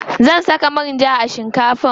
Zan saka manja a shinkafar.